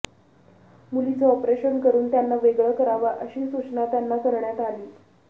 मुलींचं ऑपरेशन करून त्यांना वेगळं करावं अशी सूचना त्यांना करण्यात आली